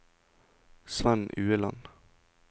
Svend Ueland